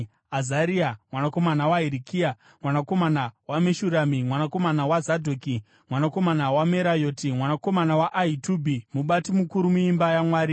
Azaria mwanakomana waHirikia, mwanakomana waMeshurami, mwanakomana waZadhoki, mwanakomana waMerayoti, mwanakomana waAhitubhi, mubati mukuru muimba yaMwari.